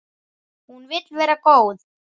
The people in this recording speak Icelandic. Hún vill vera góð.